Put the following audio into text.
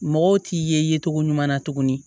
Mɔgɔw t'i ye cogo ɲuman na tuguni